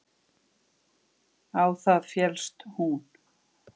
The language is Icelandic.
Á það féllst hún.